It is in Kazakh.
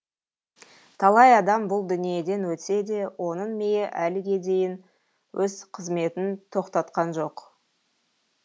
талай адам бұл дүниеден өтсе де оның миы әліге дейін өз қызметін тоқтатқан жоқ